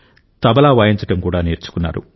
తబలా వాయించడం కూడా నేర్చుకున్నారు